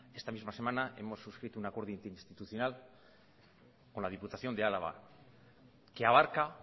esta misma semana hemos sucrito un acuerdo interinstitucional con la diputación de álava que abarca